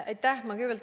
Aitäh!